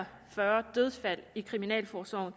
og fyrre dødsfald i kriminalforsorgen